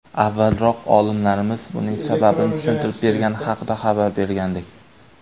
Avvalroq olimlarimiz buning sababini tushuntirib bergani haqida xabar bergandik .